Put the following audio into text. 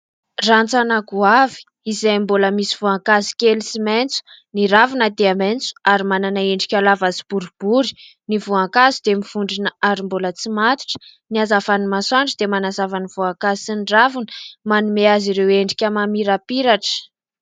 Rantsana goavy izay mbola misy voankazo kely sy maitso, ny ravina dia maitso ary manana endrika lava sy boribory ny voankazo dia mivondrona ary mbola tsy matotra. Ny hazavany masoandro dia manazava ny voankazo sy ny ravina manome azy ireo endrika mamirapiratra.